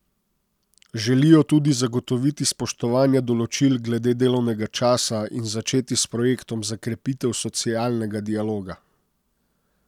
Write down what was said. Želijo tudi zagotoviti spoštovanje določil glede delovnega časa in začeti s projektom za krepitev socialnega dialoga.